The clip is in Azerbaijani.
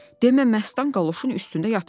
Demə Məstan qaloşun üstündə yatıbmış.